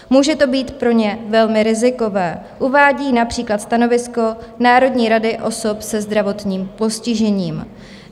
Může to být pro ně velmi rizikové, uvádí například stanovisko Národní rady osob se zdravotním postižením.